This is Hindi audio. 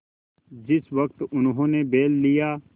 जिस वक्त उन्होंने बैल लिया